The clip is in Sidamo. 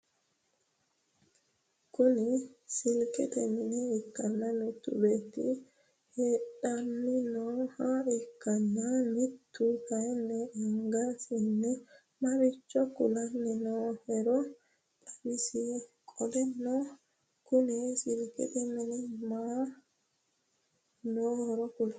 Kuni silkkete mine ikkanna mittu beetti hedhanni nooha ikkanna mittu kaayiin anggasinni marchcho kulanni noohero xawisi? Qoleno Kuni silkkete mini mama noohoro kuli